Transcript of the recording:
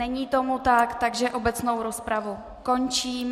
Není tomu tak, takže obecnou rozpravu končím.